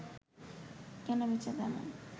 কেনা-বেচা তেমন